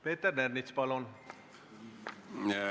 Peeter Ernits, palun!